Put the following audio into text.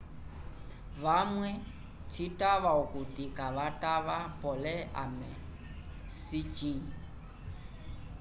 vamwe citava okuti kavatava pole ame sicĩ